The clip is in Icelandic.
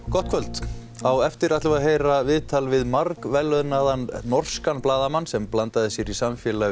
gott kvöld á eftir ætlum við að heyra viðtal við norskan blaðamann sem blandaði sér í samfélag